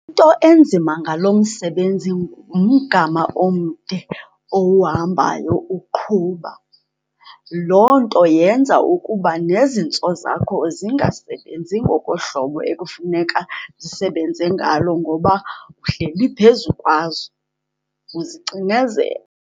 Into enzima ngalo msebenzi ngumgama omde owuhambayo uqhuba. Loo nto yenza ukuba nezintso zakho zingasebenzi ngokohlobo ekufuneka zisebenze ngalo ngoba uhleli phezu kwazo, uzicinezele.